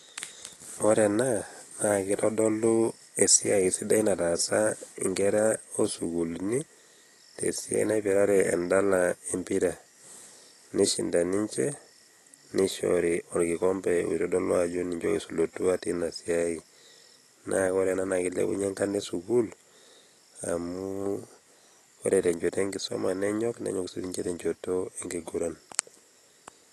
Ore ena naake itodolu esiai sidai nataasa nkera oo sukuulini te siai naipirare endala empira, nishinda ninje nishori orkikombe oitodolu ajo ninje oisulutua tina siai. Naa ore ena naake ilepunye enkarna e sukuul amu ore te nchoto enkisuma enyok, nenyok siinye te nchoto enkiguran.